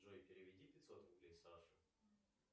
джой переведи пятьсот рублей саше